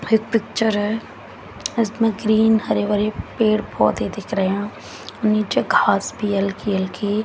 एक पिक्चर है इसमें ग्रीन हरे भरे पेड़ पौधे दिख रहे नीचे घास भी हल्की हल्की--